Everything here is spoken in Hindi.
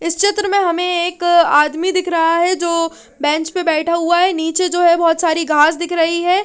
इस चित्र में हमे एक आदमी दिख रहा है जो बेंच पे बेठा हुआ है निचे जो है बहोत सारी घास दिख रही है।